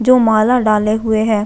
जो माला डाले हुए है।